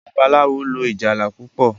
Babalawo lò ìjálá púpọ.